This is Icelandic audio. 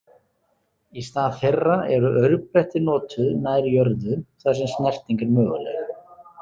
Í stað þeirra eru aurbretti notuð nær jörðu þar sem snerting er möguleg.